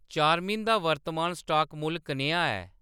चार्मिन दा वर्तमान स्टाक मुल्ल कनेहा ऐ